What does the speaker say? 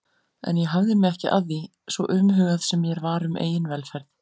En ég hafði mig ekki að því, svo umhugað sem mér var um eigin velferð.